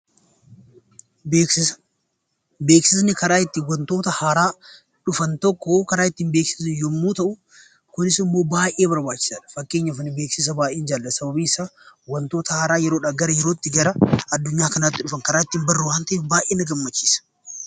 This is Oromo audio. Beeksisa: Beeksisni karaa ittiin wantoota haaraa dhyfan tokko karaa ittiin beeksisnu yeroo ta'u kinis immoo baay'ee barbaachisaadha. Fakkeenyaaf ani beeksisa baay'ee jaalladha sababni isaa wantoota haaraa yeroodhaa gara yerootti gara addunyaa kanaatti dhufan karaa ittiin baru waan ta'eef baay'ee na gammachiisa.